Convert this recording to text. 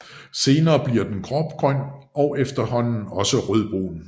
Senere bliver den grågrøn og efterhånden også rødbrun